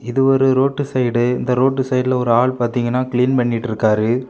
இது ஒரு road side இந்த ரோட்டு சைடுல ஒரு ஆளு பாத்தீங்னா க்ளீன் பண்ணிட்டுருக்காரு.